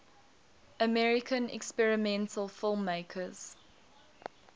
american experimental filmmakers